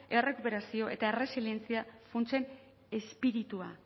errekuperazio eta erresilientzia funtsen espiritua